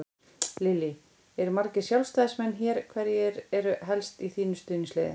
Lillý: Eru margir Sjálfstæðismenn hér, hverjir eru helst í þínu stuðningsliði?